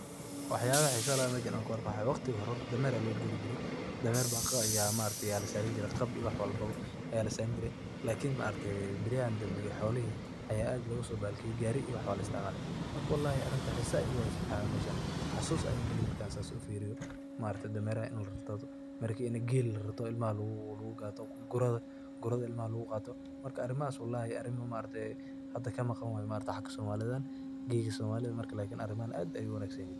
Waxyabaha xisaha leh oo meshan an ku arko waxa kamid ah, horta waqtigi hore dameer aa lagu guri jire gab iyo wax walba ayaa lasaran jire, lakin baryahan danbe xolihi ayaa aad loga sotage gari iyo wax baa laisticmala, marka walahi arinta xisaha igu heysa mesha mxa waye xisa ayan gali markan sas u firiyo, marka dameraha ini lararto ,mise gel ini lararto oo cilmaha gurada lagu gato marka arimahas maarki waa arimo kamaqan haga somalida, gela somalida lakin arimahan aad bey u wanagsanyihin.